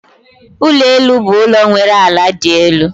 Ulo elu bụ ụlọ nwere ala dị elu